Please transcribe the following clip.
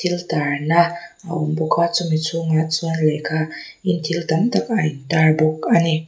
thil tarna a awm bawk a chumi chhungah chuan lehkha leh thil tam tak a in tar bawk a ni.